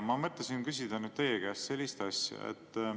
Ma mõtlesin küsida teie käest sellist asja.